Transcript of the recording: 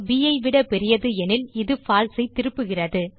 bஐ விட பெரியது எனில் இது பால்சே ஐ திருப்புகிறது